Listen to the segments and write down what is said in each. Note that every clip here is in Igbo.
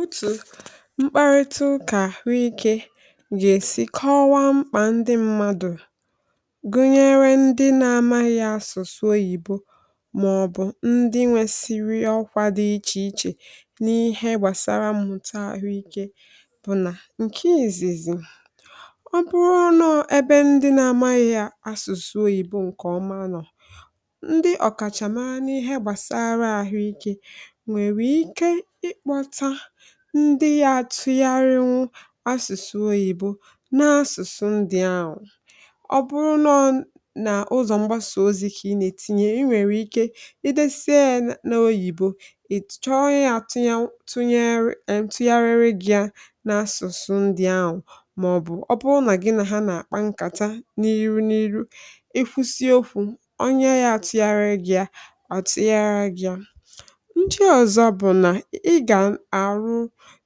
otù mkparịta ụkà àhụikė gà-èsi kọwa mkpà ndị mmadụ̀, gụnyere ndị nȧ-amaghị yȧ asụ̀sụ English, màọ̀bụ̀ ndị nwesiri ọkwȧ dị ichè ichè n’ihe gbàsara mmụta àhụike, bụ̀ nà ǹke ìzìzì ọ bụrụ n’ebe ndị nȧ-amaghị yȧ asụ̀sụ English, um ǹkè ọma nọ̀ ndị ọ̀kàchàmara n’ihe gbàsara àhụikė, ndị yȧ tụgharịnwu asụsụ English] n’asụ̀sụ̀ ndị ahụ̀. ọ bụrụ n’ọ nà ụzọ̀ mgbasà ozi̇, kà ị nà-ètinye, i nwèrè ike idėsịe n’English, ị chọọ onye atụnyere tụnyere, ẹẹ tụgharịrẹ ji ẹ nà-asụ̀sụ̀ ndị ahụ̀, màọ̀bụ̀ ọ bụrụ nà gị nà ha nà-àkpa nkàta n’iru n’iru, ị kwụsị ofù onye yȧ tụgharịrẹ ji ọ̀ tụgharịrẹ,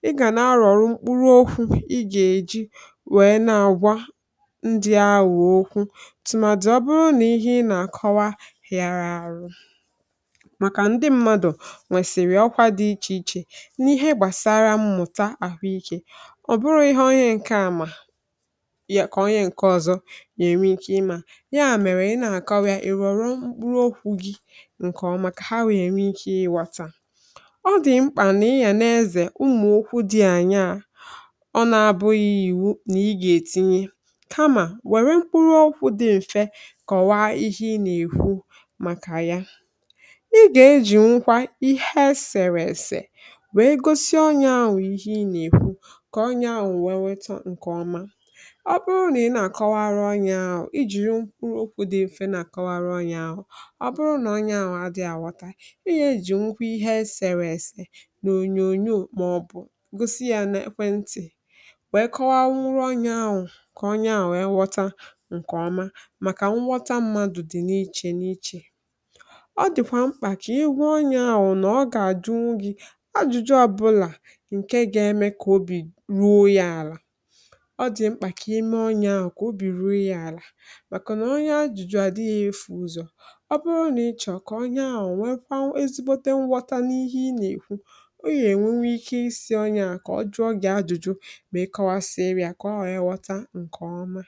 ị gà na-arụ̀ ọ̀rụ mkpụrụ okwu̇. ị gà èji wèe na-agwa ndị awụ̀ okwu̇ tùmàdù, ọbụrụ nà ihe ị nà-àkọwa hìarà àrụ, um màkà ndị mmadụ̀ nwèsìrì ọkwa dị ichè ichè n’ihe gbàsara mmụ̀ta àhụ ikė, ọ̀ bụrụ ihe onye ǹkè àmà kà onye ǹkè ọ̀zọ nà-ènwe ịkè ịmȧ yà, mèrè ị nà-àkọwa ìrụ̀ ọ̀rụ mkpụrụ okwu̇ gi̇, ǹkè ọma kà ha wèe nà èri ịkè ịwàta. ọ nà-abụghị̇ ìwu nà ị gà-ètinye, kamà wèrè mkpụrụ ọkụ̇ dị̇ m̀fe kọ̀wa ihe ị nà-èwu màkà ya, ị gà-ejì nkwa ihe esèrè èsè wèe gosi onye ahụ̀ ihe ị nà-èwu, kòo onye ahụ̀ wee wetọ ǹkè ọma. ọ bụrụ nà ị nà-àkọwara onye ahụ̀, i jìri mkpụrụ okwu̇ dị̇ m̀fe nà-àkọwara onye ahụ̀, ọ bụrụ nà onye ahụ̀ a dị̀ àvọta, i yà-ejì nkwa ihe esèrè èsè gosi yȧ n’phone] wee kọwaa nwụrụ onye ahụ̀, kà onye ahụ̀ e ghọta ǹkèọma. màkà nghọta mmadụ̀ dị̀ n’ichè n’ichè, ọ dị̀kwà mkpà kà ihu onye ahụ̀ nọ̀, ọ gà-àdụ n’ughi̇ ọ jụjụ ọbụlà, ǹke ga-eme kà obì ruo yȧ àlà. ọ dị̀ mkpà kà ime onye ahụ̀ kà obì ruo yȧ àlà, màkà nà onye ajụ̇jụ à dịghị ịfụ̇ ụzọ̀, ọ bụrụ nà ịchọ̇ kà onye ahụ̀ nwee kwa ezigbote mwọta n’ihe ị nà-èkwu, ọ yà-ènwe nwe ike isi̇ ọnyẹ ahụ̀ kà ọ jụọ gị ajụ̇jụ̇, mẹ kọwaa siri àkà ọ ẹ̀ghọta ǹkẹ̀ ọma.